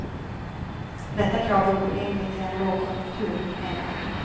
Detta krav är orimligt i en lågkonjunktur, menar hon.